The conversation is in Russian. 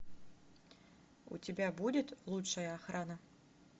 у тебя будет лучшая охрана